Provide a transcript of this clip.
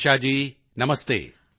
Shirisha ji ਨਮਸਤੇ